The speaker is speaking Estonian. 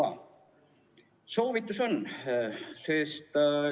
On üksnes soovitus.